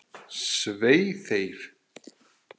Svei þeim!